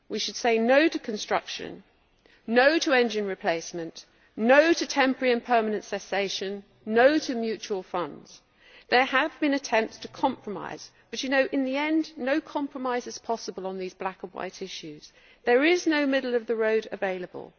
We should say no' to construction, no' to engine replacement, no' to temporary and permanent cessation, and no' to mutual funds. There have been attempts to compromise but, in the end, no compromise is possible on these black and white issues. There is no middle of the road available.